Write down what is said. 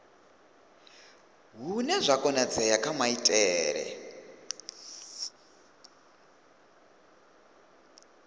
hune zwa konadzea kha maitele